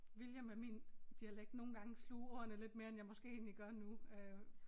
Ville jeg med min dialekt nogle gange sluge ordene lidt mere end jeg måske egentlig gør nu øh